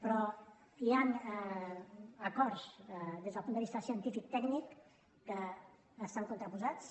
però hi han acords des del punt de vista científic i tècnic que estan contraposats